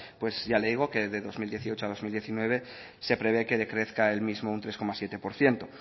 pues ya le digo que de dos mil dieciocho a dos mil diecinueve se prevé que decrezca el mismo un tres coma siete por ciento